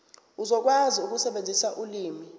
uzokwazi ukusebenzisa ulimi